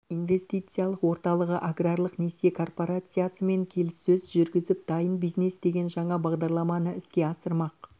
инвестициялық орталығы аграрлық несие корпорациясы мен келіссөз жүргізіп дайын бизнес деген жаңа бағдарламаны іске асырмақ